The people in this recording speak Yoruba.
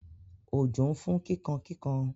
Òjò ń fún kíkankíkan.